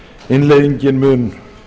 innleiðingin mun